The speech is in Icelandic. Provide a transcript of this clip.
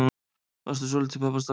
Varstu svolítil pabbastelpa?